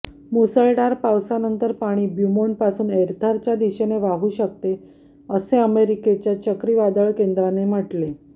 मुसळधार पावसानंतर पाणी ब्यूमोंटपासून एर्थरच्या दिशेने वाहू शकते असे अमेरिकेच्या चक्रीवादळ केंद्राने म्हटले